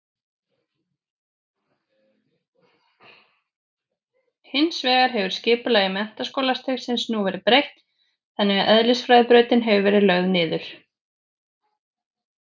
Hins vegar hefur skipulagi menntaskólastigsins nú verið breytt þannig að eðlisfræðibrautin hefur verið lögð niður.